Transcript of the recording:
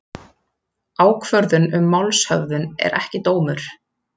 Ákvörðun um málshöfðun er ekki dómur